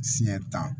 Siyɛ tan